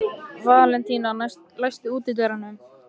Valentína, læstu útidyrunum.